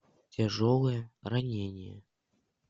тяжелое ранение